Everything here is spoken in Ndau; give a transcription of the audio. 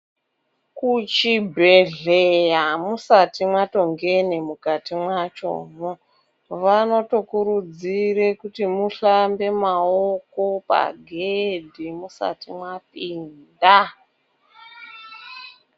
Kuchibhedhleya musati matongene mukati machomo, vanokurudzire kuti muhlambe maoko pagedhi musati mwapinda.